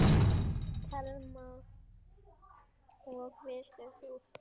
Telma: Og varst þú feginn?